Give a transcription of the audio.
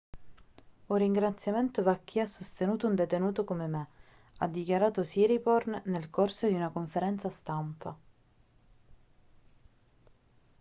un ringraziamento va a chi ha sostenuto un detenuto come me ha dichiarato siriporn nel corso di una conferenza stampa